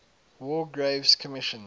war graves commission